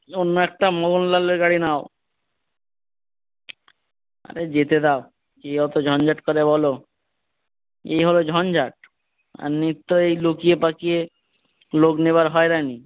অন্য একটা গাড়ি নাও আরে যেতে দাও কে অতো ঝনঝট করবে বলো। এ হলো ঝঞ্ঝাট আর নিত্য এই লুকিয়ে পাকিয়ে লোক নেবার হয়রানি।